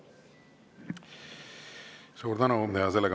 Suur tänu!